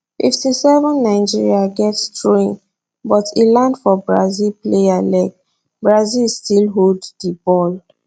57 nigeria get throwin but e land for brazil player leg brazil still hold di ball